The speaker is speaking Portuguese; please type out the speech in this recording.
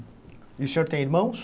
E o senhor tem irmãos?